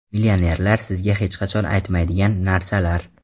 Millionerlar sizga hech qachon aytmaydigan narsalar.